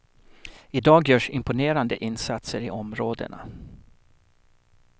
I dag görs imponerande insatser i områdena.